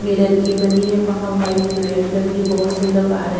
mirror की बनी है वहां व्हाइट लाइट लगी है बहुत से लोग आ रहे--